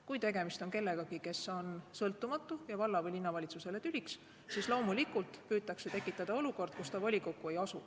Kui tegemist on kellegagi, kes on sõltumatu ja valla- või linnavalitsusele tüliks, siis loomulikult püütakse tekitada olukorda, kus ta volikokku ei asu.